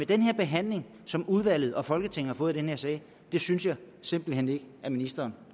den behandling som udvalget og folketinget har fået i den her sag synes jeg simpelt hen ikke at ministeren